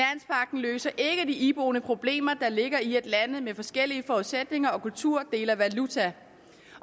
løser ikke de iboende problemer der ligger i at lande med forskellige forudsætninger og kulturer deler valuta